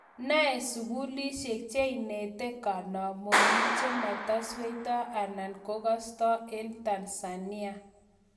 nai sugulisieg che inete kanamonik chema sweito anan kogasato en Tanzania